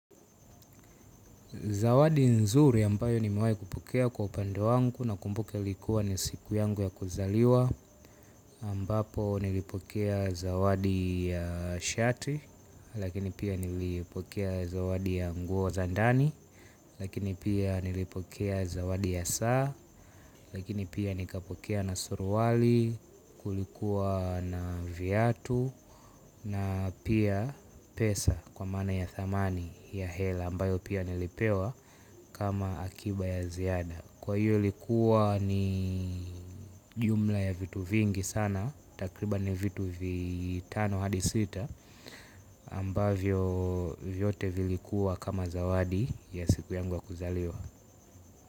Zawadi nzuri ambayo nimewahi kupokea kwa upande wangu nakumbuke ulikuwa ni siku yangu ya kuzaliwa ambapo nilipokea zawadi ya shati lakini pia nilipokea zawadi ya nguo za ndani lakini pia nilipokea zawadi ya saa lakini pia nikapokea na suruali kulikuwa na viatu na pia pesa kwa maana ya thamani ya hela ambayo pia nilipewa kama akiba ya ziada. Kwa hiyo ilikuwa ni jumla ya vitu vingi sana. Takriba ni vitu vitano hadi sita ambavyo vyote vilikuwa kama zawadi ya siku yangu ya kuzaliwa.